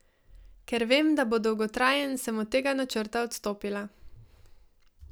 Ker vem, da bo dolgotrajen, sem od tega načrta odstopila.